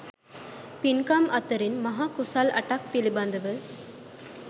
පින්කම් අතරින් මහා කුසල් අටක් පිළිබඳව